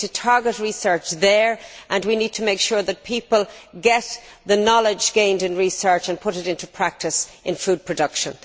We need to target research there, and we need to make sure that people get the knowledge gained by research and put it into practice in food production.